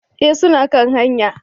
Eh suna kan hanya